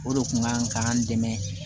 O de kun ka kan k'an dɛmɛ